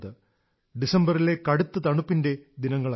ഡിസംബറിലെ കടുത്ത തണുപ്പിന്റെ ദിനങ്ങളായിരുന്നു